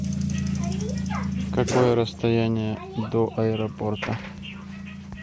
какое расстояние до аэропорта